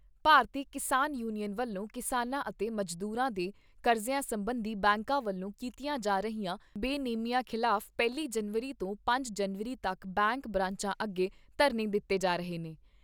ਭਾਰਤੀ Kisan union ਵੱਲੋਂ ਕਿਸਾਨਾਂ ਅਤੇ ਮਜ਼ਦੂਰਾਂ ਦੇ ਕਰਜ਼ਿਆਂ ਸਬੰਧੀ ਬੈਂਕਾਂ ਵੱਲੋਂ ਕੀਤੀਆਂ ਜਾ ਰਹੀਆਂ ਬੇਨੇਮੀਆਂ ਖਿਲਾਫ਼ ਪਹਿਲੀ ਜਨਵਰੀ ਤੋਂ ਪੰਜ ਜਨਵਰੀ ਤੱਕ ਬੈਂਕ ਬਰਾਂਚਾਂ ਅੱਗੇ ਧਰਨੇ ਦਿੱਤੇ ਜਾ ਰਹੇ ਨੇ।